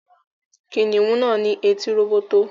Kìnìún náà ní etí róbótó